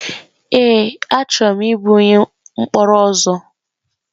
Èé! Achọrọ m ịbụ onye mkpọrọ ọzọ.